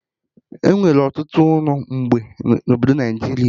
Enwere ọtụtụ ụlọ mgbe na obodo Naijiria